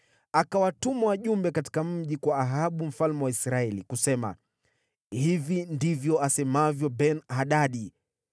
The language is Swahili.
Akawatuma wajumbe katika mji kwa Ahabu mfalme wa Israeli, kusema, “Hivi ndivyo asemavyo Ben-Hadadi: